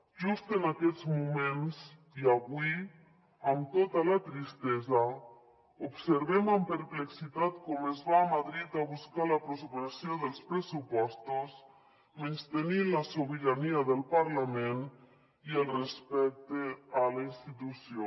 just en aquests moments i avui amb tota la tristesa observem amb perplexitat com es va a madrid a buscar l’aprovació dels pressupostos menystenint la sobirania del parlament i el respecte a la institució